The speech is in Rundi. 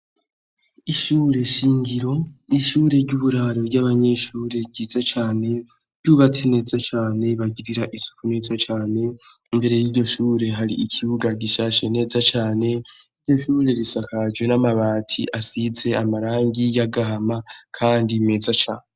Ishure shingiro. Ni ishure ry'uburaro ry'abanyeshure, ryiza cane, ryubatse neza cane, bagirira isuku neza cane. Imbere y'iryo shure hari ikibuga gishashe neza cane, iryo shure risakajwe n'amabati asize amarangi y'agahama kandi meza cane.